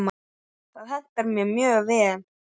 Það hentar mér mjög vel.